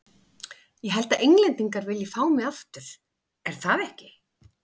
Ég held að Englendingar vilji fá mig aftur, er það ekki?